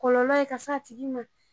Kɔlɔlɛ ka se a tigi ma